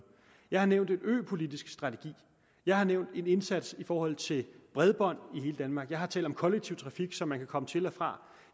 jeg har nævnt en øpolitisk strategi jeg har nævnt en indsats i forhold til bredbånd i hele danmark jeg har talt om kollektiv trafik så man kan komme til og fra